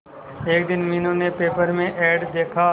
एक दिन मीनू ने पेपर में एड देखा